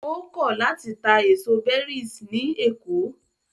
Ó kọ̀ láti ta èso berries ní Èkó.